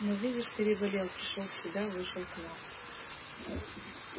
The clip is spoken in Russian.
но видишь переболел пришёл в себя вышел к нам